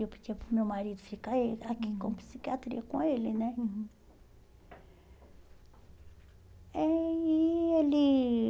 Eu pedia para o meu marido ficar aí aqui com a psiquiatria, com ele né. Uhum. Aí ele